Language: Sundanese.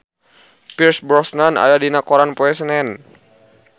Pierce Brosnan aya dina koran poe Senen